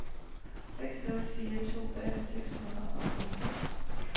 seks nul fire to atten seks hundrede og halvfems